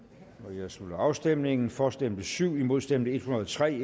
jeg slutter afstemningen for stemte syv imod stemte en hundrede og tre